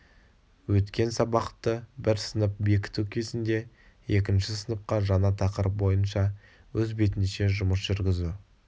өткен сабақты бір сынып бекіту кезінде екінші сыныпқа жаңа тақырып бойынша өз бетінше жұмыс жүргізу